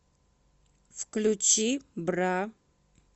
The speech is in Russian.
включи бра